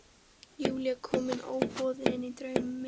Júlía komin óboðin inn í draum minn.